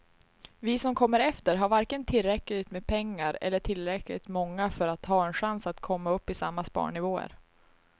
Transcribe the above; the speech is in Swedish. Vi som kommer efter har varken tillräckligt med pengar eller är tillräckligt många för att ha en chans att komma upp i samma sparnivåer.